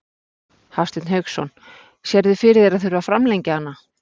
Hafsteinn Hauksson: Sérðu fyrir þér að þurfa að framlengja hana?